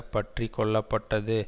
பற்றி கொள்ளப்பட்டது